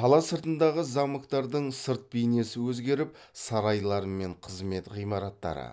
қала сыртындағы замоктардың сырт бейнесі өзгеріп сарайлары мен қызмет ғимараттары